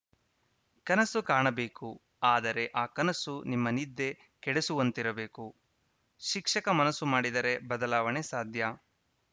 ಕನಸು ಕಾಣಬೇಕು ಆದರೆ ಆ ಕನಸು ನಿಮ್ಮ ನಿದ್ದೆ ಕೆಡಸುವಂತಿರಬೇಕು ಶಿಕ್ಷಕ ಮನಸ್ಸು ಮಾಡಿದರೆ ಬದಲಾವಣೆ ಸಾಧ್ಯ